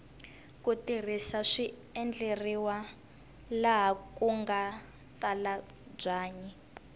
ku risa swi endleriwa laha kunga tala byanyi